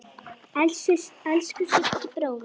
Elsku Siggi bróðir.